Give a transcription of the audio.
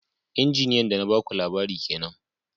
Inji Injiniya da na ba ku labari kenan